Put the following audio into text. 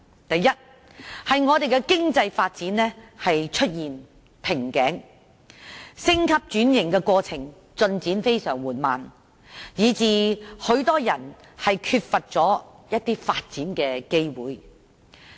第一，是經濟發展出現瓶頸，升級轉型的過程進展非常緩慢，以致很多人缺乏發展機會。